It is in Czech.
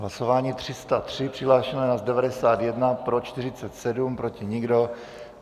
Hlasování 303, přihlášeno je nás 91, pro 47, proti nikdo.